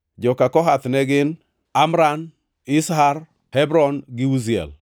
Joka Kohath ne gin: Amram, Izhar, Hebron gi Uziel.